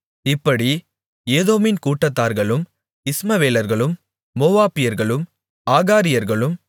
இப்படி ஏதோமின் கூடாரத்தார்களும் இஸ்மவேலர்களும் மோவாபியர்களும் ஆகாரியர்களும்